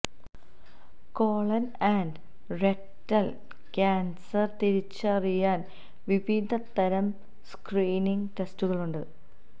colon and rectal cancer തിരിച്ചറിയാന് വിവിധ തരം സ്ക്രീനിംഗ് ടെസ്റ്റുകളുണ്ട്